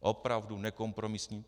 Opravdu nekompromisní.